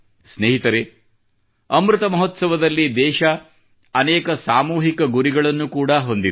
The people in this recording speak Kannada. ಸ್ನೇಹಿತರೇ ಅಮೃತ ಮಹೋತ್ಸವದಲ್ಲಿ ದೇಶವು ಅನೇಕ ಸಾಮೂಹಿಕ ಗುರಿಗಳನ್ನು ಕೂಡಾ ಹೊಂದಿದೆ